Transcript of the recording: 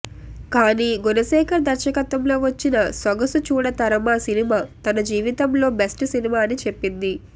కానీ గుణశేఖర్ దర్శకత్వంలో వచ్చిన సొగసు చూడతరమ సినిమా తన జీవితంలో బెస్ట్ సినిమా అని చెప్పింది